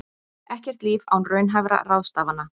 Ekkert líf án raunhæfra ráðstafana